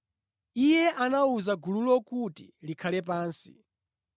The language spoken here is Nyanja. Iye anawuza gululo kuti likhale pansi.